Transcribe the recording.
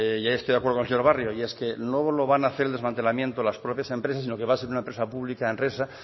y ahí estoy de acuerdo con el señor barrio y es que no lo van hacer el desmantelamiento las propias empresas sino que va a ser una empresa pública enresa